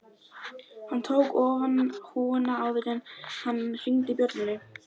Hann tók ofan húfuna áður en hann hringdi bjöllunni